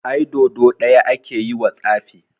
Ai Dodo ɗaya ake yiwa tsafi.